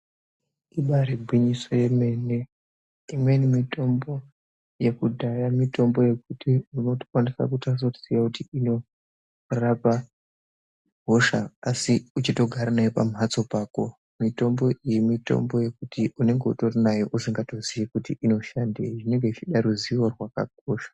Ibaari gwinyiso remene, imweni mitombo yekudhaya, mitombo yekuti unotokwanisa kutadza kunasekuziya kuti inorapa hosha asi uchitogara nayo pamhatso pako. Mitombo iyi, mitombo yekuti unenge utori nayo usingazivi kuti inoshandei. Zvinenge zvichida ruzivo rwakakura.